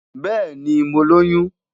Bẹẹni, Mo loyun